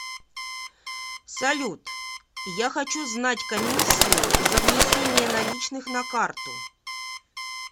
салют я хочу знать комиссию за внесение наличных на карту